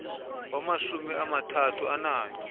wamashumi amathathu ananye